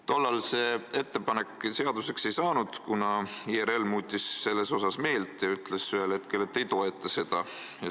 Tollal see ettepanek seaduseks ei saanud, kuna IRL muutis selles asjas meelt ja ütles ühel hetkel, et ei toeta seda.